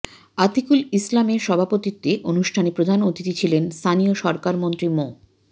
আতিকুল ইসলামের সভাপতিত্বে অনুষ্ঠানে প্রধান অতিথি ছিলেন স্থানীয় সরকারমন্ত্রী মো